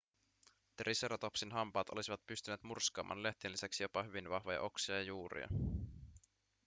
triceratopsin hampaat olisivat pystyneet murskaamaan lehtien lisäksi jopa hyvin vahvoja oksia ja juuria